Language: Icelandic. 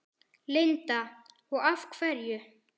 Linda: Og af hverju?